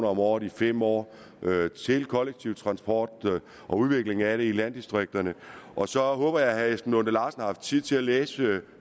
om året i fem år til kollektiv transport og udvikling af det i landdistrikterne og så håber jeg herre esben lunde larsen har haft tid til at læse